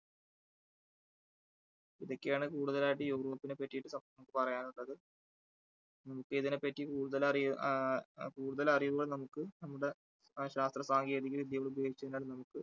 ഇതൊക്കെയാണ് കൂടുതലായിട്ടും യൂറോപ്പിനെ പറ്റിട്ട് നമുക്ക് പറയാനുള്ളത് നമ്മുക്ക് ഇതിനെപറ്റി കൂടുതൽ അറിയൂ ആ കൂടതൽ അറിയുവാൻ നമുക്ക് നമ്മുടെ ശാസ്ത്രസാങ്കേതികവിദ്യകൾ ഉപയോഗിച്ച് കഴിഞ്ഞാൽ നമുക്ക്